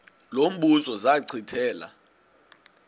lo mbuzo zachithela